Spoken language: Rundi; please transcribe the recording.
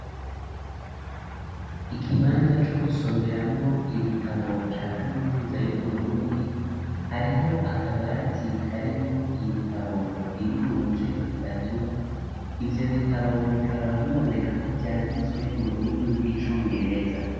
Ikibanza co gusomeramwo ibitabo ca kaminuza y'uburundi, hariho akabati karimwo Ibitabo biri mu mice itatu, ivyo bitabo Bikaba biboneka ko vyanditswe m'ururimi rw'icongereza.